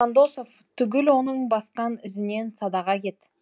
жандосов түгіл оның басқан ізінен садаға кет